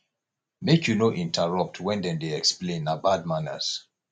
make you no interrupt when dem dey explain na bad manners